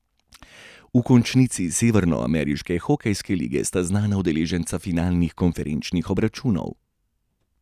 V končnici severnoameriške hokejske lige sta znana udeleženca finalnih konferenčnih obračunov.